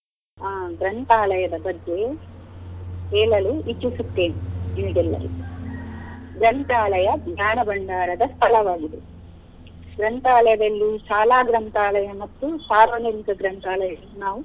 ಆ ಗ್ರಂಥಾಲಯದ ಬಗ್ಗೆ ಹೇಳಲು ಇಚ್ಚಿಸುತ್ತೇನೆ ನಿಮಗೆಲ್ಲರಿಗೆ. ಗ್ರಂಥಾಲಯ ಜ್ಞಾನ ಭಂಡಾರದ ಸ್ಥಳವಾಗಿದೆ. ಗ್ರಂಥಾಲಯದಲ್ಲಿ ಶಾಲಾ ಗ್ರಂಥಾಲಯ ಮತ್ತು ಸಾರ್ವಜನಿಕ ಗ್ರಂಥಾಲಯ ನಾವು.